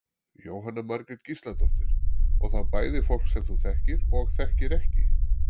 Jóhanna Margrét Gísladóttir: Og þá bæði fólk sem þú þekkir og þekkir ekki?